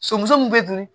Somuso min bɛ dun